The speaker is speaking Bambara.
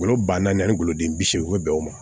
Golo ba naani ani goloden bi seegin bɛ bɛn o ma